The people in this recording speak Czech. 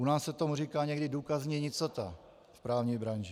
U nás se tomu říká někdy důkazní nicota v právní branži.